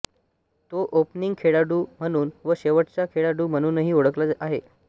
तो ओपनिंग खेळाडू म्हणून व शेवटचा खेळाडू म्हणूनही खेळला आहे